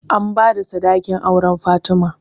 An bada sadakin auren fatima